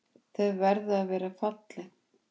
Þau verða að vera falleg.